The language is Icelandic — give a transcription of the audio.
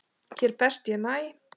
Hér best ég næ.